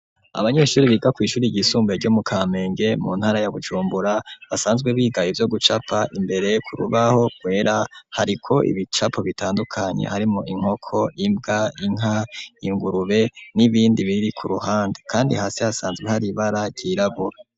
Abanyeshure biga kw'ishure ryisumbuye ryo mu kampenge mu ntara ya Bujumbura basanzwe biga ivyo gucapa imbere ku rubaho rwera hariko ibicapo bitandukanye harimo inkoko imbwa inka ingurube n'ibindi biri ku ruhande kandi hasi hasanzwe hari ibara ryirabura.